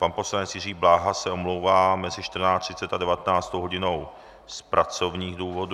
Pan poslanec Jiří Bláha se omlouvá mezi 14.30 a 19. hodinou z pracovních důvodů.